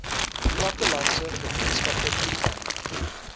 plattelandse gemeenskappe toegang